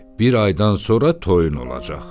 Bir aydan sonra toyun olacaq.